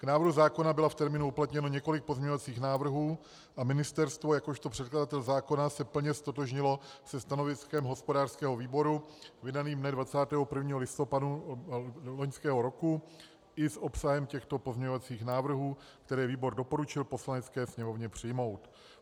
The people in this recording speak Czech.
K návrhu zákona bylo v termínu uplatněno několik pozměňovacích návrhů a ministerstvo jakožto předkladatel zákona se plně ztotožnilo se stanoviskem hospodářského výboru vydaným dne 21. listopadu loňského roku i s obsahem těchto pozměňovacích návrhů, které výbor doporučil Poslanecké sněmovně přijmout.